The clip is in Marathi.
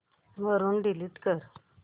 वरून डिलीट कर